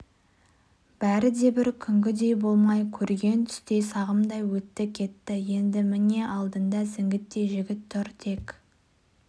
бәрі де бір күнгідей болмай көрген түстей сағымдай өтті-кетті енді міне алдында зіңгіттей жігіт тұр тек